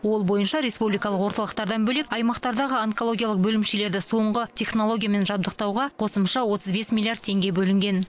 ол бойынша республикалық орталықтардан бөлек аймақтардағы онкологиялық бөлімшелерді соңғы технологиямен жабдықтауға қосымша отыз бес миллиард теңге бөлінген